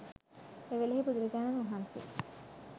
එවෙලෙහි බුදුරජාණන් වහන්සේ